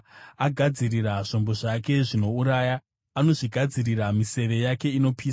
Agadzirira zvombo zvake zvinouraya; anozvigadzirira miseve yake inopisa.